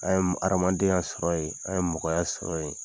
An ye adamadenya sɔrɔ yen, an ye mɔgɔya sɔrɔ yen.